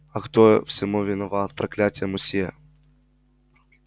а кто всему виноват проклятый мусье